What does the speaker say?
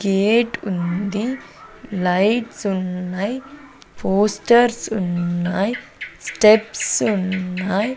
Gate ఉంది lights ఉన్నయ్ posters ఉన్నాయ్ స్టెప్స్ ఉన్నాయ్.